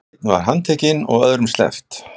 Einn handtekinn og öðrum sleppt